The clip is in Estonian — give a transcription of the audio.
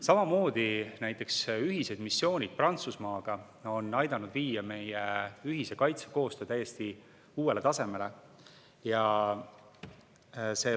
Samamoodi on näiteks ühised missioonid Prantsusmaaga aidanud viia meie ühise kaitsekoostöö täiesti uuele tasemele.